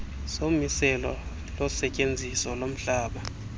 somiselo losetyenziso lomhlaba